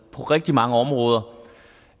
på rigtig mange områder